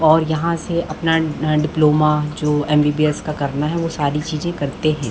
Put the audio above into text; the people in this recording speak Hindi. और यहाँ से अपना डिप्लोमा जो एमबीबीएस का करना है वो सारी चीज़े करते है।